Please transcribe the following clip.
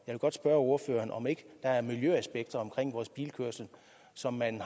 vil godt spørge ordføreren om ikke der er miljøaspekter omkring vores bilkørsel som man